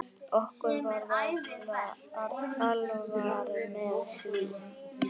Okkur var alvara með því.